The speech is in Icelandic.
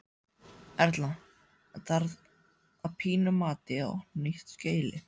Erla: En þarf að þínu mati að opna nýtt skýli?